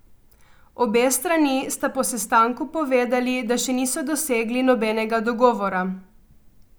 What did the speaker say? Obe strani sta po sestanku povedali, da še niso dosegli nobenega dogovora.